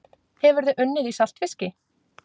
Hefurðu unnið í saltfiski?